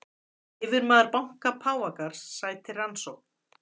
Yfirmaður banka Páfagarðs sætir rannsókn